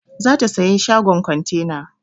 Za ta saya shagon kontena.